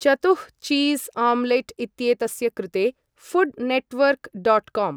चतुः cheese omelette इत्येतस्य कृते फुड नेटवर्क डाट काम